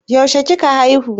Yaushe kika haihu?